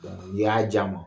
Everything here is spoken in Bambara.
N'Iiy'a di an ma.